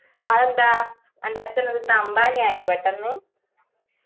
അയെന്താ അന്റ അച്ഛൻ അവിടത്തെ അംബാനി ആയോ പെട്ടെന്ന്